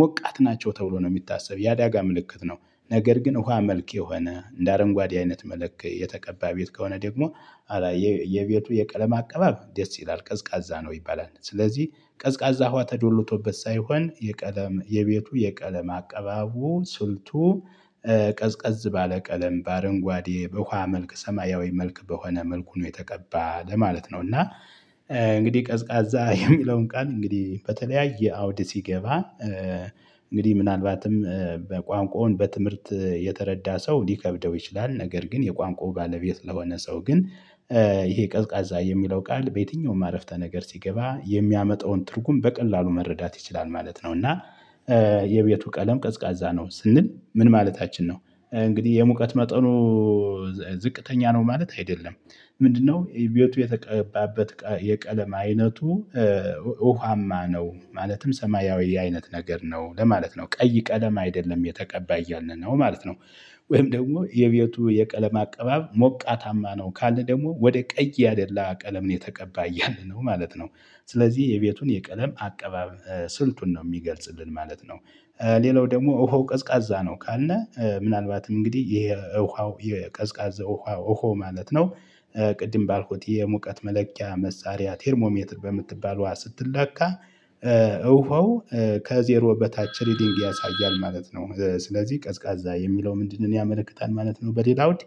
ሞቃት ናቸው ተብሎ ነው የሚታሰብ የአዳጋ ምልክት ነው። ነገር ግን ውሃ መልክ የሆነ እንደ አረንጓዴ አይነት መለክ የተቀባ ቤት ከሆነ ደግሞ የቤቱ የቀለም አቀባብ ደስ ይላል ቀዝቃዛ ነው ይባላል። ስለዚህ ቀዝቃዛ ውሃ ተዶሎቶበት ሳይሆን የቀለም የቤቱ የቀለም አቀባቡ ስልቱ ቀዝቀዝ ባለ ቀለም በአረንጓዴ በውሃ መልክ ሰማያዊ መልክ በሆነ መልኩ ነው የተቀባ ለማለት ነው። እና እንግዲህ ቀዝቃዛ የሚለውን ቃል እንግዲህ በተለያየ አውድ ሲገባ እንግዲህ ምናልባትም በቋንቋውን በትምህርት የተረዳ ሰው ሊከብደው ይችላል ነገር ግን የቋንቋው ባለቤት ለሆነ ሰው ግን ይሄ ቀዝቃዛ የሚለው ቃል በየትኛውም አረፍተ ነገር ሲገባ የሚያመጣውን ትርጉም በቀላሉ መረዳት ይችላል ማለት ነው። እና የቤቱ ቀለም ቀዝቃዛ ነው ስንል ምን ማለታችን ነው? እንግዲህ የሙቀት መጠኑ ዝቅተኛ ነው ማለት አይደለም። ምንድነው? ቤቱ የተቀባበት የቀለም አይነቱ ውሃማ ነው ማለትም ሰማያዊ አይነት ነገር ነው ለማለት ነው ቀይ ቀለም አይደለም የተቀባይ እያልን ነው ማለት ነው። ወይም ደግሞ የቤቱ የቀለም አቀባብ ሞቃታማ ነው ካልን ደግሞ ወደ ቀይ ያደላ ቀለም ነው የተቀባ ያለነው ማለት ነው። ስለዚህ የቤቱን የቀለም አቀባብ ስልቱን ነው የሚገልጽልን ማለት ነው። ሌላው ደግሞ እሆ ቀዝቃዛ ነው ካልነ ምናልባትም እንግዲህ ይሄ ውሃው የቀዝቃዛ ውሃው ውሃው ማለት ነው። ቅድም ባልኩት የሙቀት መለኪያ መሳሪያ ቴርሞ ሜትር በምትባለው ውሃ ስትለካ ውሃው ከዜሮ በታች ሪዲንግ ያሳያል ማለት ነው። ስለዚህ ቀዝቃዛ የሚለው ምንድነው? ያመለክታል ማለት ነው በሌላ ውድ